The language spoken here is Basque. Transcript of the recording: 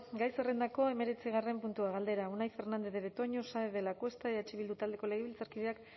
gai zerrendako hemeretzigarren puntua galdera unai fernandez de betoño saenz de lacuesta eh bildu taldeko legebiltzarkideak